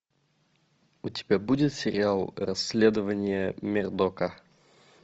у тебя будет сериал расследования мердока